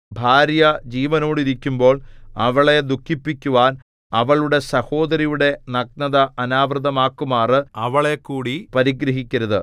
ഭാര്യ ജീവനോടിരിക്കുമ്പോൾ അവളെ ദുഃഖിപ്പിക്കുവാൻ അവളുടെ സഹോദരിയുടെ നഗ്നത അനാവൃതമാക്കുമാറ് അവളെക്കൂടി പരിഗ്രഹിക്കരുത്